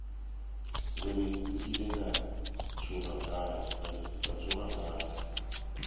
gore nkile ka tsoga fase